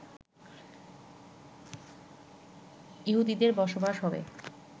ইহুদিদের বসবাস হবে